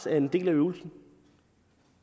er en del af øvelsen